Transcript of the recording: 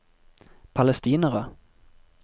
palestinere